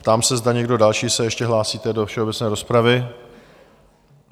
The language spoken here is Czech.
Ptám se, zda někdo další se ještě hlásíte do všeobecné rozpravy?